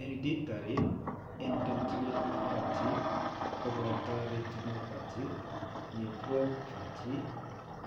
Hereditary endotheliopathy koboto retinopathy, nephropathy